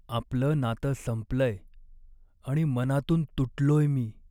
आपलं नातं संपलंय आणि मनातून तुटलोय मी.